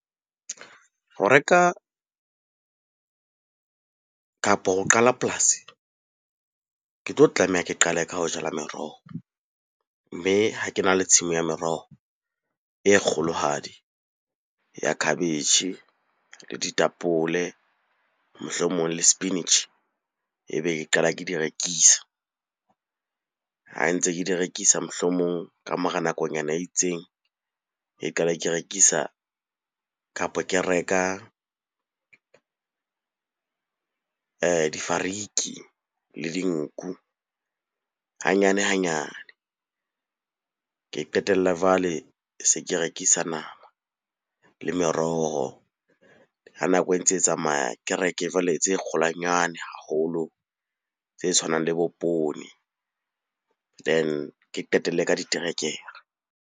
Ho reka, kapo ho qala polasi ke tlo tlameha ke qale ka ho jala meroho. Mme ha ke na le tshimo ya meroho e kgolohadi ya khabetjhe, le ditapole, mohlomong le sepinitjhi, ebe ke qala ke di rekisa. Ha ntse ke di rekisa, mohlomong ka mora nakonyana e itseng, e qala ke rekisa kapo ke reka difariki le dinku hanyane-hanyane. Ke qetella jwale se ke rekisa nama le meroho. Ha nako e ntse e tsamaya, ke reke jwale tse kgolwanyane haholo tse tshwanang le bo poone. Then, ke qetelle ka diterekere.